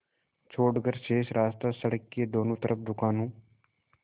छोड़कर शेष रास्ता सड़क के दोनों तरफ़ दुकानों